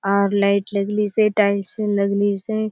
आउर लाइट लगलिसे टाइल्स लगलिसे।